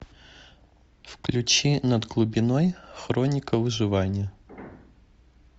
включи над глубиной хроника выживания